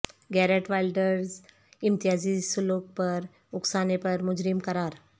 Garrett Wilders امتیازی سلوک پر اکسانے پر مجرم قرار